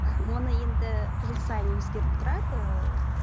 оны енді жыл сайын өзгеріп тұрады